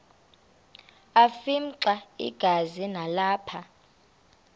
afimxa igazi nalapho